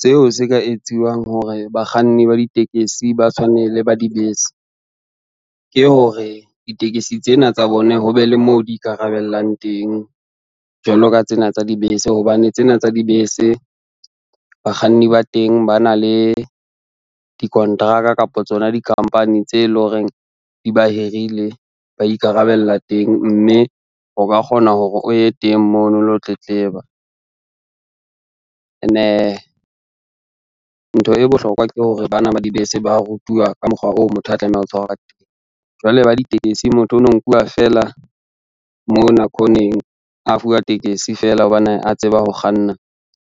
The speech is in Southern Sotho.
Seo se ka etsiwang hore bakganni ba ditekesi ba tshwane le ba dibese, ke hore ditekesi tsena tsa bone ho be le moo di ikarabellang teng jwalo ka tsena tsa dibese, hobane tsena tsa dibese, bakganni ba teng ba na le dikonteraka kapa tsona di-company tse lo reng di ba hirile ba ikarabella teng, mme o ka kgona hore o ye teng mono o lo tletleba. Ntho e bohlokwa ke hore bana ba dibese ba rutuwa ka mokgwa oo motho a tlamehang ho tshwara ka teng, jwale ba ditekesi motho ono nkuwa fela mona khoneng, a fuwa tekesi fela hobane a tseba ho kganna,